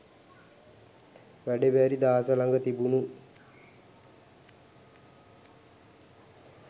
වැඩ බැරි දාස ළඟ තිබුණු